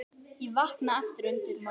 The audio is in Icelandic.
Ég vaknaði aftur undir morgun.